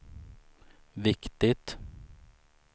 viktigt